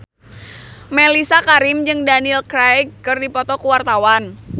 Mellisa Karim jeung Daniel Craig keur dipoto ku wartawan